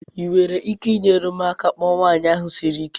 Ị nwere ike inyere m aka ịkpọ nwanyị ahụ siri ike?